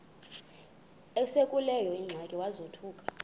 esekuleyo ingxaki wazothuka